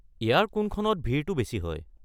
ইয়াৰ কোনখনত ভিৰটো বেছি হয়?